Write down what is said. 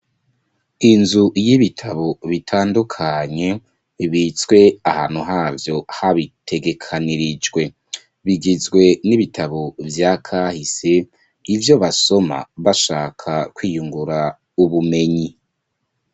Inzu y'ibitabo bitandukanye bibitswe ahantu havyo habitegekanirijwe, bigizwe n'ibitabo vyakahise ivyo basoma bashaka kwiyungura ubumenyi